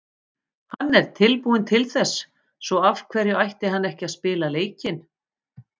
Hann er tilbúinn til þess, svo af hverju ætti hann ekki að spila leikinn?